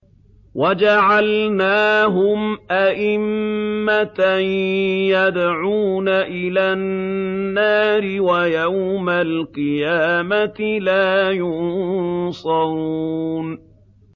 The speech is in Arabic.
وَجَعَلْنَاهُمْ أَئِمَّةً يَدْعُونَ إِلَى النَّارِ ۖ وَيَوْمَ الْقِيَامَةِ لَا يُنصَرُونَ